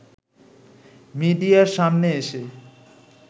মিডিয়ার সামনে এসে